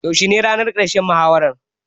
Yaushe ne ranar ƙarshen muhawaran?